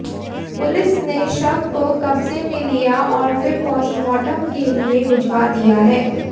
police ने शव को कब्जे में लिया और फिर पोस्टमॉर्टम के लिए भिजवा दिया है